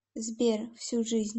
сбер всю жизнь